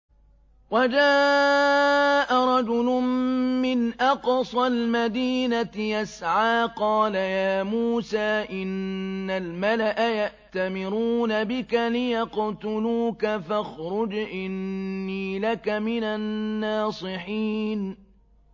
وَجَاءَ رَجُلٌ مِّنْ أَقْصَى الْمَدِينَةِ يَسْعَىٰ قَالَ يَا مُوسَىٰ إِنَّ الْمَلَأَ يَأْتَمِرُونَ بِكَ لِيَقْتُلُوكَ فَاخْرُجْ إِنِّي لَكَ مِنَ النَّاصِحِينَ